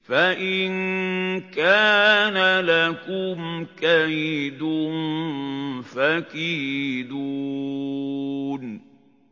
فَإِن كَانَ لَكُمْ كَيْدٌ فَكِيدُونِ